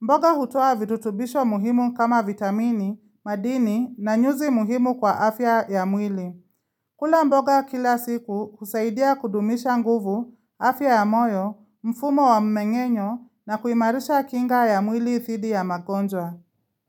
Mboga hutua virutubisho muhimu kama vitamini, madini na nyuzi muhimu kwa afya ya mwili. Kula mboga kila siku kusaidia kudumisha nguvu, afya ya moyo, mfumo wa mmeng'enyo na kuimarisha kinga ya mwili dhidi ya magonjwa.